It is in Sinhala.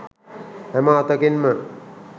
හැම අතකින්ම